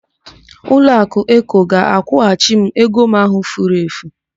Ụlọakụ Eko ga-akwụghachi m ego m ahụ furu efu.